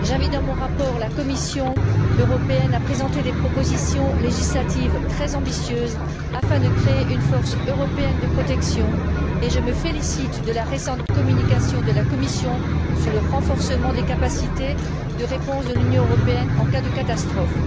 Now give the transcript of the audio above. j'invite dans mon rapport la Commission européenne à présenter des propositions législatives très ambitieuses afin de créer une force européenne de protection et je me félicite de la récente communication de la Commission sur le renforcement des capacités de réponse de l'Union européenne en cas de catastrophe.